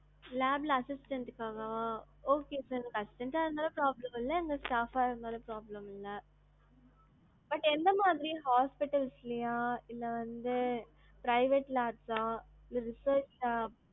lab ல assistant க்குக்காகவா, okay sir எனக்கு assistant ஆ இருந்தாலும் problem இல்ல, அங்க staff ஆ இருந்தாலும் problem இல்ல. but எந்தமாதிரி hospitals லையா, இல்ல வந்து private labs ஆ, இல்ல research ஆ